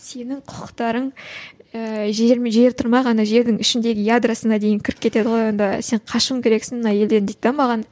сенің құқықтарың ыыы жер тұрмақ ана жердің ішіндегі ядросына дейін кіріп кетеді ғой онда сен қашуың керексің мына елден дейді де маған